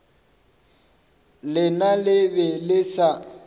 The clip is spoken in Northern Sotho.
lena le be le sa